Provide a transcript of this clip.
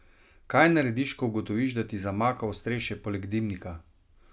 Kaj narediš, ko ugotoviš, da ti zamaka ostrešje poleg dimnika?